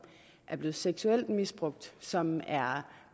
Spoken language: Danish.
er blevet seksuelt misbrugt som er